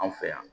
Anw fɛ yan